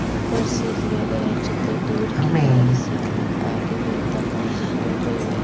ऊपर से दिए गए चित्र दूर की तरफ से अन्द आगे बहता पानी और कोई वय--